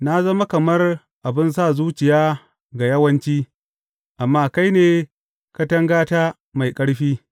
Na zama kamar abin sa zuciya ga yawanci, amma kai ne katangata mai ƙarfi.